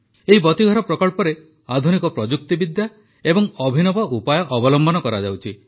ଏହି ବତୀଘର ପ୍ରକଳ୍ପରେ ଆଧୁନିକ ପ୍ରଯୁକ୍ତିବିଦ୍ୟା ଏବଂ ଅଭିନବ ଉପାୟ ଅବଲମ୍ବନ କରାଯାଉଛି